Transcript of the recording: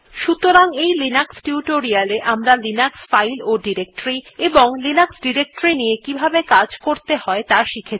সুতরাং এই Linux tutorial এ আমরা লিনাক্স ফাইল ও ডিরেক্টরী এবং লিনাক্স ডিরেক্টরীর নিয়ে কিভাবে কাজ করতে হয় ত়া শিখেছি